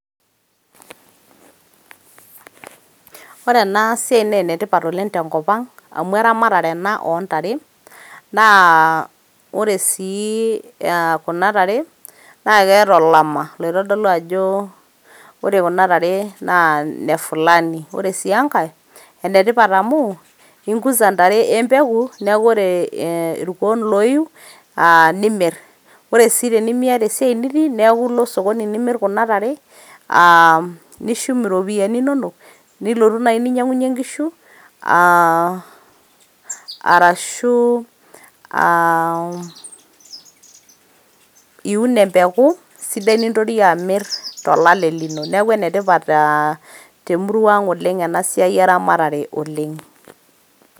Ore ena siai naa enetipat oleng tenkop ang amu eramatare ena ontare naa ore sii kuna tare naa keeta olama loitodolu ore kuna tare naa ine fulani. ore sii enkae ,ikuza intare empeku niaku ore irkuo loiu aa nimir. ore si tenimiata esiai nitii niaku ilo osokoni nimir kuna tare aa nishum iropiyiani inonok nilotu nai ninyangunyie inkishu aa arashu iun empeku sidai nintori amir tolale lino . niaku ene tipat ena siai eramatare te murua ang oleng.